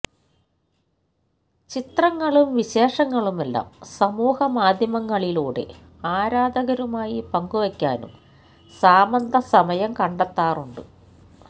ചിത്രങ്ങളും വിശേഷങ്ങളുമെല്ലാം സമൂഹമാധ്യമങ്ങളിലൂടെ ആരാധകരുമായി പങ്കുവയ്ക്കാനും സാമന്ത സമയം കണ്ടെത്താറുണ്ട്